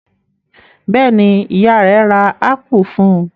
Bẹ́ẹ̀ ni, ìyá rẹ̀ ra ápù fún un.